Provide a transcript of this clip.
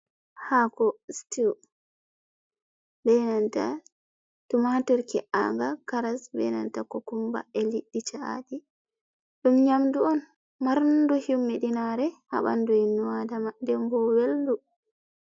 Hako stew benanta tumatur ke'anga karas benanta kokumba e liddi cha’aji, dum nyamdu on marndu himmi dinare habandu ibnuadama dembo weldu.